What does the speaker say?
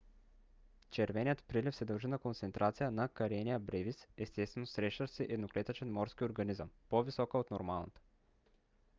червеният прилив се дължи на концентрация на karenia brevis естествено срещащ се едноклетъчен морски организъм по - висока от нормалната